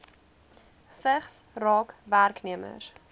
vigs raak werknemers